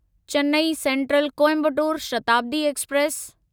Chennai central Coimbatore Shatabdi express